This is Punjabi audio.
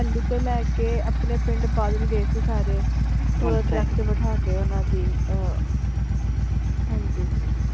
ਮੋਹਾਲੀ ਤੋਂ ਲੈ ਕੇ ਆਪਣੇ ਪਿੰਡ ਬਾਦਲ ਗਏ ਸੀ ਸਾਰੇ ਤੇ ਬਿਠਾ ਕੇ ਓਹਨਾ ਦੀ ਆਹ ਹਾਂਜੀ।